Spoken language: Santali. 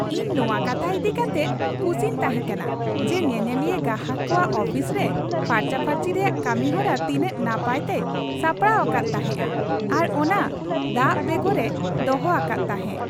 ᱤᱧ ᱱᱚᱣᱟ ᱠᱟᱛᱷᱟ ᱤᱫᱤ ᱠᱟᱛᱮᱜ ᱠᱩᱥᱤᱧ ᱛᱟᱦᱮᱸᱠᱟᱱᱟ ᱡᱮ ᱧᱮᱧᱮᱞᱤᱭᱟᱹ ᱜᱟᱦᱟᱠ ᱠᱚᱣᱟᱜ ᱚᱯᱷᱤᱥ ᱨᱮ ᱯᱷᱟᱨᱪᱟᱼᱯᱷᱟᱹᱨᱪᱤ ᱨᱮᱭᱟᱜ ᱠᱟᱹᱢᱤᱦᱚᱨᱟ ᱛᱤᱱᱟᱹᱜ ᱱᱟᱯᱟᱭ ᱛᱮᱭ ᱥᱟᱯᱲᱟᱣ ᱟᱠᱟᱫ ᱛᱟᱦᱮᱸᱜᱼᱟ ᱟᱨ ᱚᱱᱟ ᱫᱟᱜᱽ ᱵᱮᱜᱚᱨᱮ ᱫᱚᱦᱚ ᱟᱠᱟᱫ ᱛᱟᱦᱮᱸᱜ ᱾